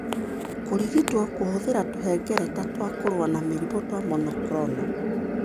Kũrigitwo kũhũthĩra tũhengereta twa kũrũa na mĩrimũ twa monoclonal.